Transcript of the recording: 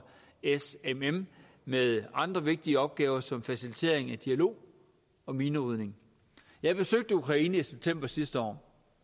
smm med andre vigtige opgaver som facilitering af dialog og minerydning jeg besøgte ukraine i september sidste år